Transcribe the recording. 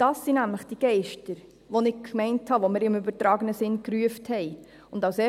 Das sind nämlich die Geister, von denen ich gemeint habe, dass wir sie im übertragenen Sinn gerufen haben.